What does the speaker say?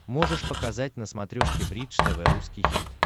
можешь показать на смотрешке бридж тв русский хит